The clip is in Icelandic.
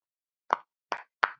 Er verið að skatta fátækt?